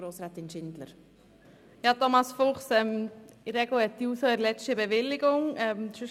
Thomas Fuchs, in der Regel hat die JUSO eine Bewilligung für ihre Kundgebungen.